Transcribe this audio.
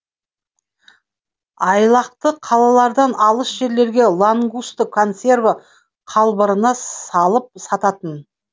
айлақты қалалардан алыс жерлерде лангусты консерві қалбырына салып сататын